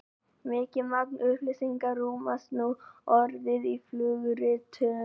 mikið magn upplýsinga rúmast nú orðið í flugritum